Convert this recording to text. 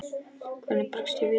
Hvernig bregst ég við?